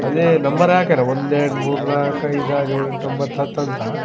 ಅದು ನಂಬರ್ ಹಾಕ್ಯಾರ ಒಂದು ಎರಡು ಮೂರು ನಾಕ್ ಐದ್ ಆರ್ ಏಳ್ ಎಂಟ್ ಒಂಭತ್ತ್ ಹತ್ತ್ ಅಂತ.